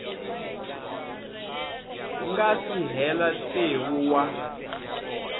nga si hela tsevu wa